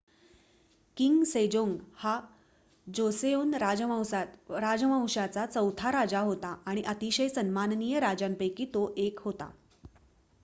king Sejong हा Joseon राजवंशाचा चौथा राजा होता आणि अतिशय सन्माननीय राजांपैकी तो 1 होता